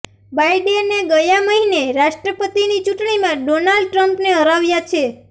બાઈડેને ગયા મહિને રાષ્ટ્રપતિની ચૂંટણીમાં ડોનાલ્ડ ટ્રમ્પને હરાવ્યા છે